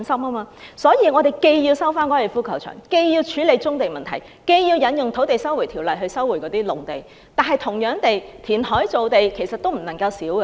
因此，我們要收回粉嶺高球場，處理棕地問題，引用《收回土地條例》收回農地，同時也要填海造地。